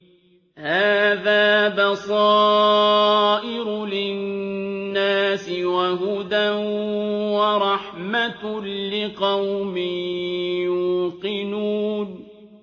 هَٰذَا بَصَائِرُ لِلنَّاسِ وَهُدًى وَرَحْمَةٌ لِّقَوْمٍ يُوقِنُونَ